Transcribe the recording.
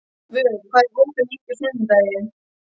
Vök, hvað er opið lengi á sunnudaginn?